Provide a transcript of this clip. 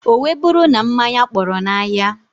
O wee buru na mmanya kpọrọ na ahia.